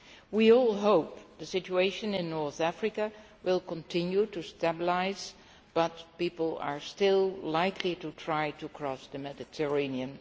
We all hope the situation in North Africa will continue to stabilise, but people are still likely to try to cross the Mediterranean.